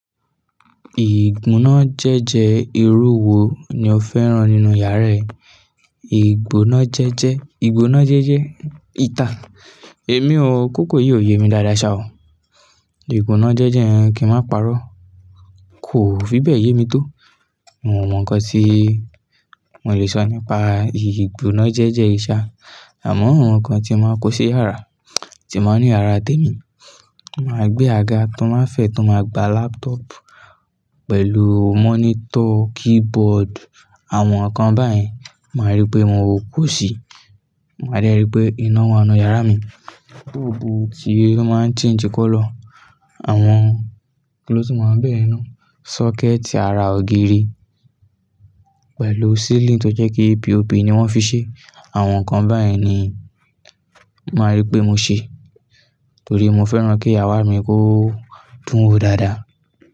Ìgbona jẹ́jẹ́ irú wo ni o fẹ́ràn nínú yàrá ẹ? Ìgbonà jẹ́jẹ́, ìgbonà jẹ́jẹ́ ìta. Èmi o, kòkò yìí ò yé mi dáadáa ṣa o. Ìgbona jẹ́jẹ́ kí n máa parọ́, kò fi bẹ́ẹ̀ yé mi tó. Mo mọ̀ ǹkan tí mo lè sọ nípa ìgbona jẹ́jẹ́ yii sá, àmọ́ àwọn ǹkan tí máa kó sí yàrá, tí máa ní yàrá té mi, màá gbé àga tó máa ń fẹ̀, tó máa gba laptop pẹ̀lú monitor, keyboard àwọn ǹkan báyìí. Màá rí pé mo kò sí, màá rí pé iná wà nínú yàrá mi. Búlbù tí ó máa ń change colour, àwọn kí ló tún máa wá ńbẹ yen na? Socket ara ògiri pẹ̀lú ceiling tó jẹ́ kí P.O.P ni wọ́n fi ṣe. Àwọn ǹkan báyìí ni màá rí pé mo ṣe torí mo fẹ́ràn kí yàrá mi kó dùn wo dáadáa.